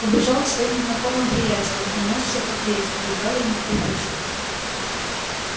убежал к своим знакомым-приятелям унёсся как ветер едва ли не вприпрыжку